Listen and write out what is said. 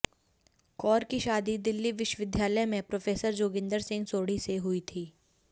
कौर की शादी दिल्ली विश्वविद्यालय में प्रोफेसर जोगिंदर सिंह सोढ़ी से हुई थी